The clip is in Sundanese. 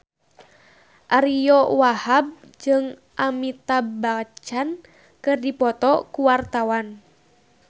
Ariyo Wahab jeung Amitabh Bachchan keur dipoto ku wartawan